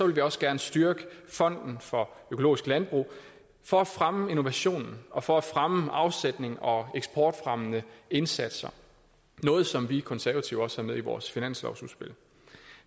vi også gerne styrke fonden for økologisk landbrug for at fremme innovationen og for at fremme afsætningen og eksportfremmende indsatser noget som vi konservative også har med i vores finanslovsudspil